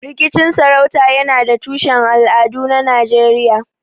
Rikicin sarauta yana da tushen al'adu a Najeriya.